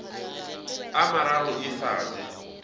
a mararo e sa je